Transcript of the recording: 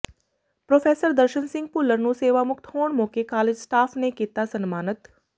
professor Darshan Singh Bhullar ਨੂੰ ਸੇਵਾਮੁਕਤ ਹੋਣ ਮੌਕੇ ਕਾਲਜ ਸਟਾਫ ਨੇ ਕੀਤਾ ਸਨਮਾਨਿਤ